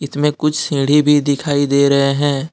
इसमें कुछ सीढ़ी भी दिखाई दे रहे हैं।